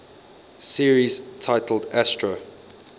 series titled astro